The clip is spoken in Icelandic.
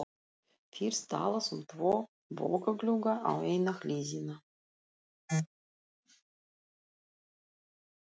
Fyrst talað um tvo bogaglugga á eina hliðina.